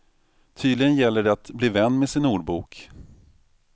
Tydligen gäller det att bli vän med sin ordbok.